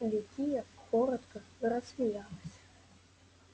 ликия коротко рассмеялась